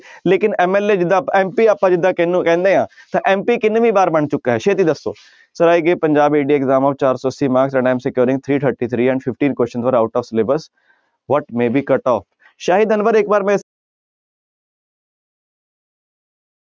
ਲੇਕਿੰਨ MLA ਜਿੱਦਾਂ MP ਆਪਾਂ ਜਿੱਦਾਂ ਕਿਹਨੂੰ ਕਹਿੰਦੇ ਹਾਂ ਤਾਂ MP ਕਿੰਨਵੀ ਵਾਰ ਬਣ ਚੁੱਕਾ ਹੈ ਛੇਤੀ ਦੱਸੋ sir exam ਚਾਰ ਸੌ ਅੱਸੀ marks three thirty three and fifteen question sir out of syllabus, what ਸ਼ਾਹਿਦ ਅਨਵਰ ਇੱਕ ਵਾਰ